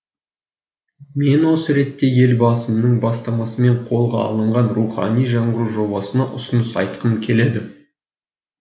мен осы ретте елбасының бастамасымен қолға алынған рухани жаңғыру жобасына ұсыныс айтқым келеді